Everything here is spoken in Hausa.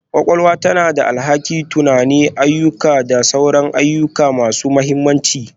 Kwakwalwa tana da alhakin tunani, ayyuka da sauran ayyuka masu mahimmanci